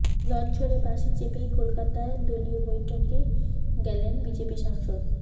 লঝঝড়ে বাসে চেপেই কলকাতায় দলীয় বৈঠকে গেলেন বিজেপি সাংসদ